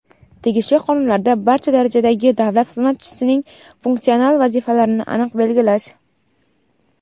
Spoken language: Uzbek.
tegishli qonunlarda barcha darajadagi davlat xizmatchisining funksional vazifalarini aniq belgilash.